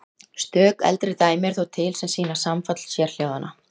Stök eldri dæmi eru þó til sem sýna samfall sérhljóðanna.